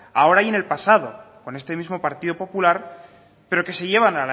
ahora y en el pasado con este mismo partido popular pero que se llevan